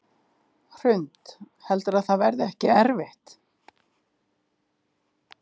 Hrund: Heldurðu að það verði ekkert erfitt?